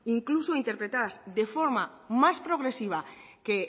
incluso interpretadas de forma más progresiva que